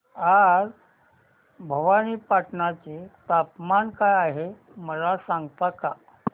आज भवानीपटना चे तापमान काय आहे मला सांगता का